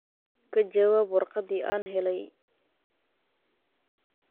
ka jawaab warqadii aan helay